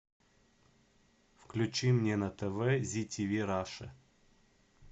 включи мне на тв зи тиви раша